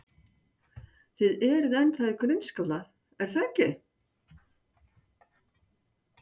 Þið eruð ennþá í grunnskóla, er það ekki?